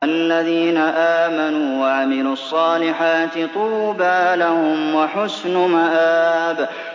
الَّذِينَ آمَنُوا وَعَمِلُوا الصَّالِحَاتِ طُوبَىٰ لَهُمْ وَحُسْنُ مَآبٍ